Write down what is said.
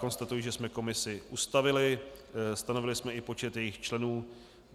Konstatuji, že jsme komisi ustavili, stanovili jsme i počet jejích členů.